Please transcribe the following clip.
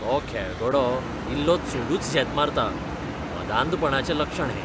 तो खेळगडो इल्लो चडूच झेत मारता, मदांधपणाचें लक्षण हें.